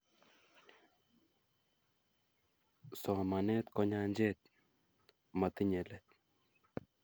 Somanet ko nyanjet motinyei let